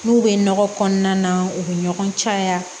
N'u bɛ nɔgɔ kɔnɔna na u bɛ ɲɔgɔn caya